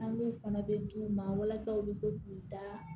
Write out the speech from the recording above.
An b'o fana bɛ d'u ma walasa u bɛ se k'u da